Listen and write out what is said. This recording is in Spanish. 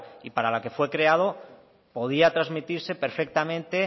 y para lo que fue creado podía transmitirse perfectamente